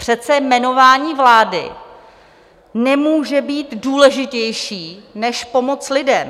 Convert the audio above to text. Přece jmenování vlády nemůže být důležitější než pomoc lidem.